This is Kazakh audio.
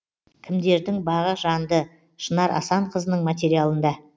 кімдердің бағы жанды шынар асанқызының материалында